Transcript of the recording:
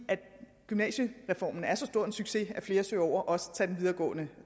gymnasiereformen er så stor en succes at flere søger over og også tager en videregående